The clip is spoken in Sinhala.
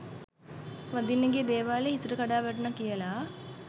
වඳින්න ගිය දේවාලෙ හිසට කඩා වැටුණා කියලා.